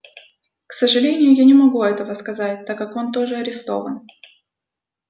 к сожалению я не могу этого сказать так как он тоже арестован